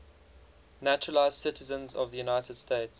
naturalized citizens of the united states